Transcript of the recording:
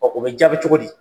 Ɔn o bi jaabi cogo di?